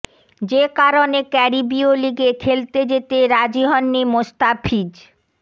যে কারণে ক্যারিবীয় লিগে খেলতে যেতে রাজি হননি মোস্তাফিজ